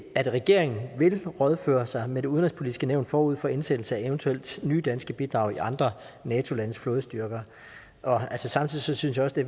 at regeringen vil rådføre sig med det udenrigspolitiske nævn forud for indsættelse af eventuelle nye danske bidrag i andre nato landes flådestyrker samtidig synes jeg også det